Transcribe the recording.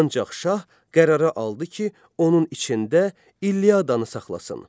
Ancaq şah qərara aldı ki, onun içində İlyadanı saxlasın.